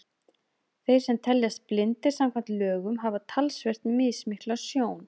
Þeir sem teljast blindir samkvæmt lögum hafa talsvert mismikla sjón.